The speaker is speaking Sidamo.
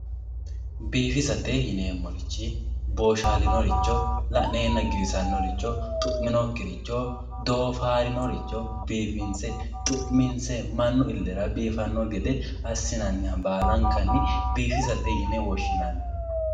biifisate yineemorichi booshaalinoricho la'neenna giwisannoricho dhu'minokkiricho doofaarinoricho biifinse xu'minse mannu illera biifanno gede assinanniha baalankanni biifisate yine woshshinanni.